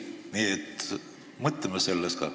Nii et mõtleme sellest ka.